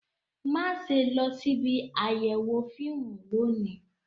Má ṣe lọ síbi àyẹ̀wò fíìmù lónìí